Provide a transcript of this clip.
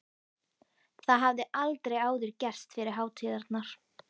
Það hafði aldrei áður gerst yfir hátíðarnar.